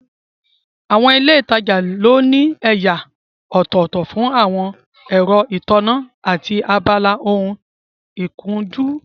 Àwọn ilé ìtajà ló ní ẹ̀yà ọ̀tọ̀ọ̀tọ̀ fún àwọn ẹ̀rọ ìtànná, àti abala ohun ìkunjú